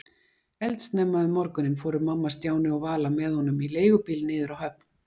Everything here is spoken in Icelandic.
Eldsnemma um morguninn fóru mamma, Stjáni og Vala með honum í leigubíl niður á höfn.